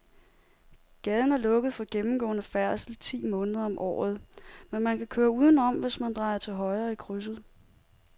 Gaden er lukket for gennemgående færdsel ti måneder om året, men man kan køre udenom, hvis man drejer til højre i krydset.